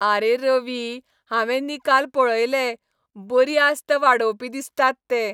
आरे रवी, हांवें निकाल पळयले, बरी आस्त वाडोवपी दिसतात ते.